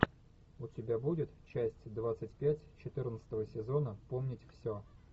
у тебя будет часть двадцать пять четырнадцатого сезона помнить все